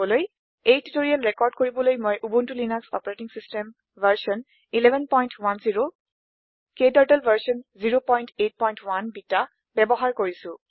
এই tutorial record কৰিবলৈ মই উবুনটো লিনাস অচ ভাৰ্চন 1110 ক্টাৰ্টল ভাৰ্চন 081 বেটা ব্যৱহাৰ কৰিছো